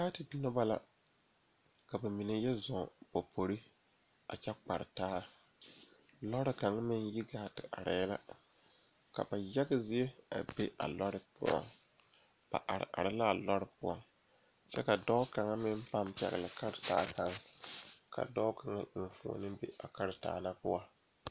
Teere mine pare la ka yiri kaŋa are a be kyɛ kaa bipole a de gangaare yeere ba kɔkɔre poɔ kyɛ kaa kaŋa seɛ kuri wogi kaa gbɛɛ e peɛrɛ peeɛ kyɛ ko'o de bonziɛ le o zu.